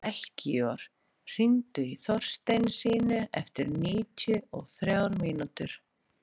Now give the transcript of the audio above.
Melkíor, hringdu í Þorsteinsínu eftir níutíu og þrjár mínútur.